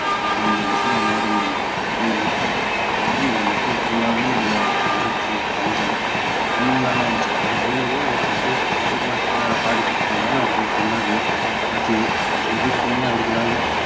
அது அந்த டிசம்பர் மாதம் வந்த புயல்ல நிறைய இந்த மக்கள் full லாவே இந்த வறட்சி பஞ்சம் full லாவே இருந்துச்சி அந்த time லலாம் மக்கள் பாதிக்கப்பட்டதுனால அவர்களுக்கு உணவு பசி ஏதற்குமே அவர்களால